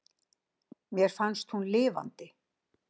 Mér fannst hún lifandi.